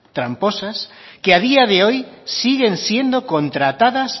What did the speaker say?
tramposas que a día de hoy siguen siendo contratadas